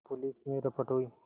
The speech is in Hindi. पुलिस में रपट हुई